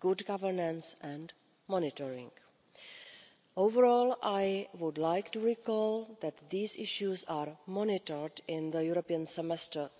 good governance and monitoring. Overall, I would like to recall that these issues are monitored in the European Semester